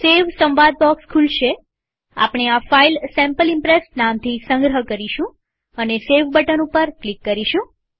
સેવ સંવાદ બોક્સ ખુલશેઆપણે આ ફાઈલ સેમ્પલ ઈમ્પ્રેસ નામથી સંગ્રહ કરીશું અને સેવ બટન ઉપર ક્લિક કરીશું